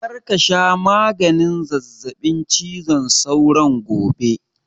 Kar ka sha maganin zazzaɓin cizon sauron gobe!